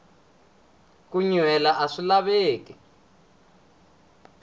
ku nyuhela aswi laveki